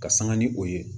Ka sanga ni o ye